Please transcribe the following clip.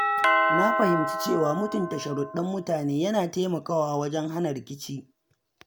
Na fahimci cewa mutunta sharuɗɗan mutane yana taimakawa wajen hana rikici.